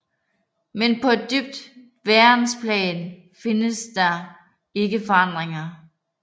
Men på et dybt værensplan findes der ikke forandringer